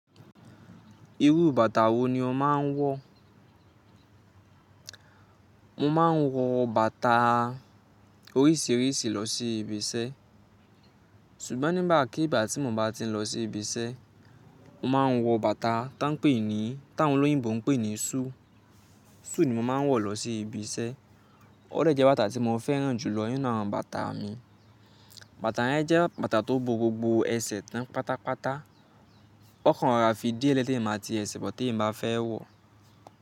Irú bàtà wo ni o máa ń wọ̀? Mo máa ń wọ bàtà oríṣìíríṣìí lọ sí ibiṣẹ́ ṣùgbọ́n nígbàkigbà tí mo bá ti ń lọ sí ibiṣẹ́, mo máa ń wọ bàtà táń pè ní, táwọn olóyìnbo ń pè ní shoe. Suit ni mo máa ń wọ̀ lọ sí ibiṣẹ́. Ó dẹ̀ jẹ́ bàtà tí mo fẹ́ràn jùlọ nínú àwọn bàtà mi. Bàtà yẹn jẹ́ bàtà tó bo gbogbo ẹsẹ̀ tán pátápátá. Ó kàn ra fi díẹ̀ lé tí eyan màá ti ẹsẹ̀ bọ̀ tí eyan bá fẹ́ wọ̀